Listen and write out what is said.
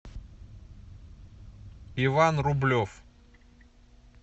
иван рублев